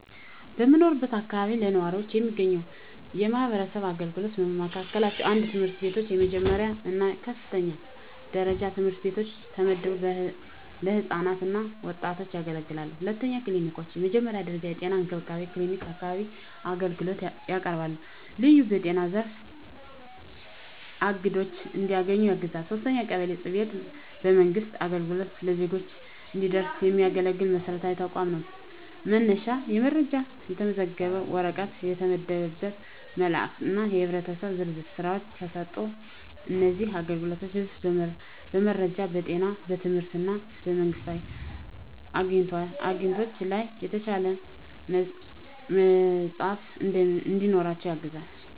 በምኖርበት አካባቢ ለነዋሪዎች የሚገኙ የማህበረሰብ አገልግሎቶች በመካከላቸው፣ 1. ትምህርት ቤቶች፣ የመጀመሪያ እና የከፍተኛ ደረጃ ትምህርት ቤቶች ተመድበው ለህፃናት እና ወጣቶች ያገለግላሉ። 2. ክሊኒኮች፣ የመጀመሪያ ደረጃ የጤና እንክብካቤ ክሊኒክ በአካባቢው አገልግሎት ያቀርባል፣ ልዩ በጤና ዘርፍ አግድዶች እንዲያገኙ ያግዛል። 3. ቀበሌ ጽ/ቤት፣ የመንግሥት አገልግሎት ለዜጎች እንዲደረስ የሚያገለግል መሰረታዊ ተቋም ነው፤ መነሻ የመረጃ፣ የተመዘገበ ወረቀት፣ የተመደበ መልእክት እና የህብረተሰብ ዝርዝር ሥራዎች ተሰጥተዋል። እነዚህ አገልግሎቶች ህዝቡ በመረጃ፣ በጤና፣ በትምህርት እና በመንግስታዊ አግኝቶች ላይ የተሻለ መዳፍ እንዲኖራቸው ያግዛቸዋል።